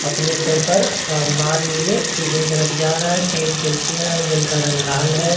अपने सर पर अ माल लिए दूसरी तरफ जा रहा हैं तीन कुर्सियाँ हैं जिनका रंग लाल हैं।